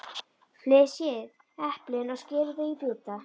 Flysjið eplin og skerið þau í bita.